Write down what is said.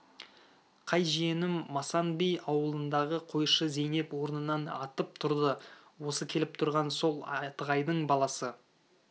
қай жиенім масан би ауылындағы қойшы зейнеп орнынан атып тұрды осы келіп тұрған сол атығайдың баласы